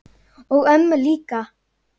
og ömmu líka.